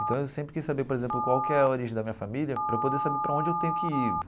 Então eu sempre quis saber, por exemplo, qual que é a origem da minha família, para eu poder saber para onde eu tenho que ir.